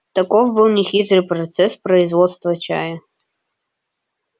таков был нехитрый процесс производства чая